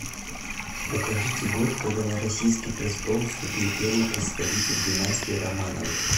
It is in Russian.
укажите год когда на российский престол вступил первый представитель династии романовых